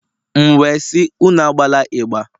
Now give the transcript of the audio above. M wee sị, Unu agbala ịgbà